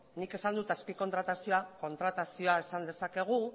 nik esan dut azpi kontratazioa kontratazioa esan dezakegu